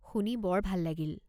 শুনি বৰ ভাল লাগিল।